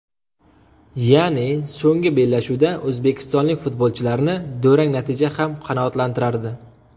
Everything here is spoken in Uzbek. Ya’ni, so‘nggi bellashuvda o‘zbekistonlik futbolchilarni durang natija ham qanoatlantirardi.